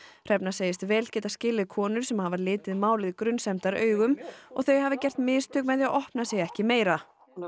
hrefna segist vel getað skilið konur sem hafi litið málið og þau hafi gert mistök með því að opna sig ekki meira hún